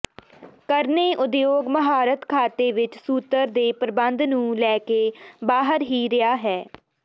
ਕਰਨੇ ਉਦਯੋਗ ਮਹਾਰਤ ਖਾਤੇ ਵਿੱਚ ਸੂਤ੍ਰ ਦੇ ਪ੍ਰਬੰਧ ਨੂੰ ਲੈ ਕੇ ਬਾਹਰ ਹੀ ਰਿਹਾ ਹੈ